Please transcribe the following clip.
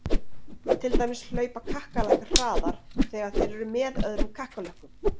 Til dæmis hlaupa kakkalakkar hraðar þegar þeir eru með öðrum kakkalökkum!